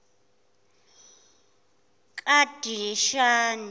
kadishani